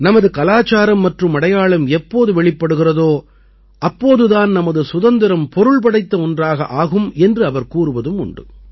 நமது கலாச்சாரம் மற்றும் அடையாளம் எப்போது வெளிப்படுகிறதோ அப்போது தான் நமது சுதந்திரம் பொருள் படைத்த ஒன்றாக ஆகும் என்று அவர் கூறுவதும் உண்டு